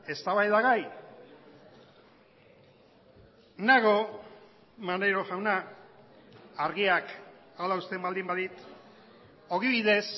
eztabaidagai nago maneiro jauna argiak hala uzten baldin badit ogibidez